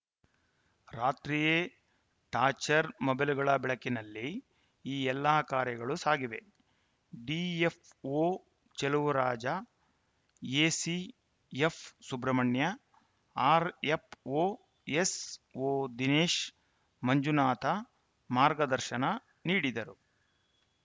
ರಾತ್ರಿಯೇ ಟಾಚ್‌ರ್‍ ಮೊಬೈಲ್‌ಗಳ ಬೆಳಕಿನಲ್ಲಿ ಈ ಎಲ್ಲಾ ಕಾರ್ಯಗಳು ಸಾಗಿವೆ DFO Chaluvaraja ACF Subrahmanya RFO ಎಸ್‌ಓದಿನೇಶ Manjunatha ಮಾರ್ಗದರ್ಶನ ನೀಡಿದರು